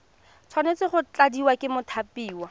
tshwanetse go tladiwa ke mothapiwa